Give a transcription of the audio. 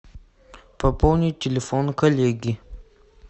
пополнить телефон коллеги